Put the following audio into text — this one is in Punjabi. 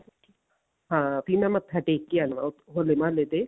ਹਾਂ ਵੀ ਮੈਂ ਮੱਥਾ ਟੇਕ ਕੇ ਆਉਣਾ ਹੋਲੇ ਮਹੱਲੇ ਤੇ